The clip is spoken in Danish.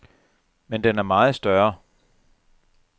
Men den er meget større.